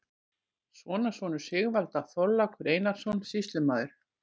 Sonarsonur Sigvalda, Þorlákur Einarsson, sýslumaður